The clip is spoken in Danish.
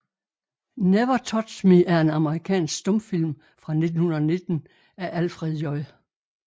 Never Touched Me er en amerikansk stumfilm fra 1919 af Alfred J